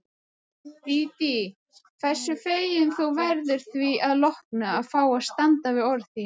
Dídí, hversu fegin þú verður því að lokum að fá að standa við orð þín.